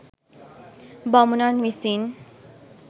බමුණන් විසින්